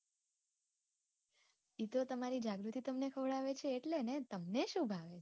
એતો તમારી જાગૃતિ તમને ખવડાવે છે એટલે ને તમને સુ ભાવે?